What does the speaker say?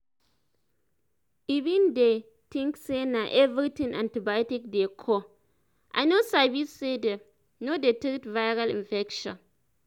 i been dey think say na everything antibiotics dey cure i no sabi say them no dey treat viral infections